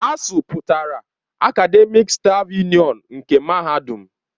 ASUU pụtara Akademịk stáf Yunịọnu nke Mahadum.